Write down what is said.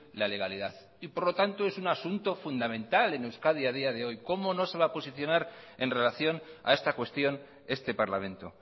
la legalidad y por lo tanto es un asunto fundamental en euskadi a día de hoy cómo no se va a posicionar en relación a esta cuestión este parlamento